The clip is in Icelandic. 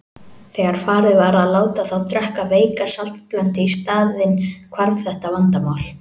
Þegar farið var að láta þá drekka veika saltblöndu í staðinn hvarf þetta vandamál.